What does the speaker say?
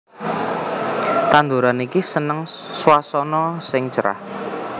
Tanduran iki seneng swasana sing cerah